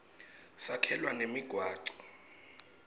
sakhelwa nemigwaco